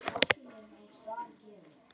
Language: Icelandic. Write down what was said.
sögðu menn.